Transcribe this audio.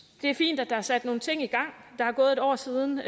det er fint at der er sat nogle ting i gang der er gået et år siden